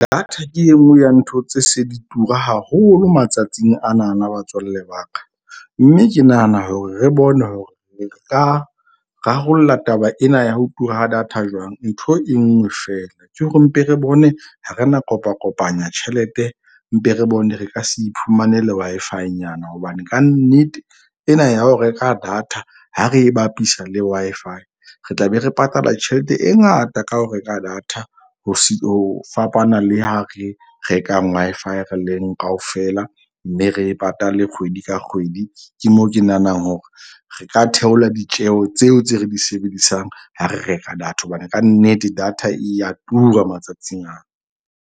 Data ke e nngwe ya ntho tse se di tura haholo matsatsing anana batswalle ba ka. Mme ke nahana hore re bone hore re ka rarolla taba ena ya ho tura ha data jwang. Ntho e nngwe feela ke hore mpe re bone ha re na kopa kopanya tjhelete. Mpe re bone re ka se iphumanele Wi-Fi-nyana. Hobane kannete ena ya ho reka data ha re e bapisa le Wi-Fi re tla be re patala tjhelete e ngata ka ho reka data ho fapana le ha re reka Wi-Fi re leng kaofela. Mme re e patale kgwedi ka kgwedi. Ke moo ke nahanang hore re ka theola ditjeho tseo tse re di sebedisang ha re reka data. Hobane kannete data e ya tura matsatsing ana.